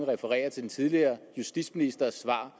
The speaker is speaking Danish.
referere til den tidligere justitsministers svar